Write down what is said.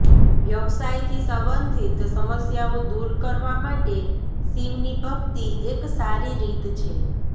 વ્યવસાયથી સંબંધિત સમસ્યાઓ દૂર કરવા માટે શિવની ભક્તિ એક સારી રીત છે